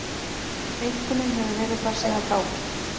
Einkunnin hefur verið þar síðan þá